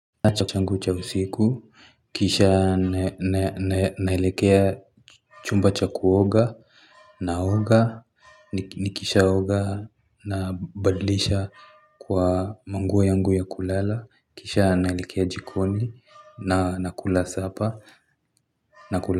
Kisha na na naelekea chumba cha kuoga, naoga, nikishaoga nabadlisha kwa manguo yangu ya kulala, kisha naelekea jikoni, na nakula sapa, nakula.